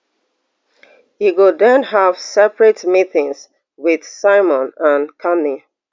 e go den have separate meetings wit simon and carney